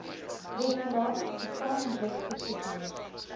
regulasies gesamentlik goedgekeur